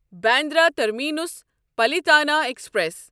Bandra terminus Palitana express